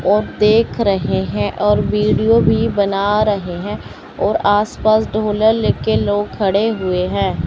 और देख रहे हैं और वीडियो भी बना रहे है और आस पास ढोलर लेके लोग खड़े हुए है।